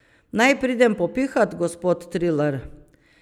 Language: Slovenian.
Naj pridem popihat, gospod Trilar?